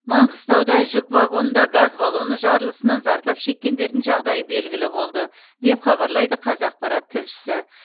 маңғыстауда жүк вагонында газ баллоны жарылысынан зардап шеккендердің жағдайы белгілі болды деп хабарлайды қазақпарат тілшісі